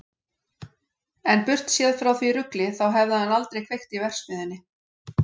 En burtséð frá því rugli, þá hefði hann aldrei kveikt í verksmiðjunni!